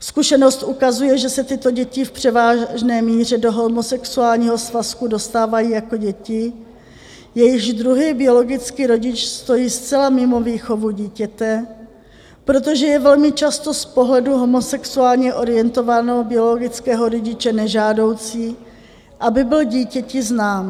Zkušenost ukazuje, že se tyto děti v převážné míře do homosexuálního svazku dostávají jako děti, jejichž druhý biologicky rodič stojí zcela mimo výchovu dítěte, protože je velmi často z pohledu homosexuálně orientovaného biologického rodiče nežádoucí, aby byl dítěti znám.